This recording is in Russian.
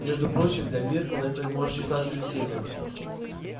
между прочим для миртл это может считаться весельем